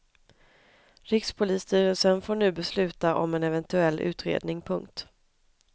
Rikspolisstyrelsen får nu besluta om en eventuell utredning. punkt